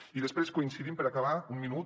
i després coincidim per acabar un minut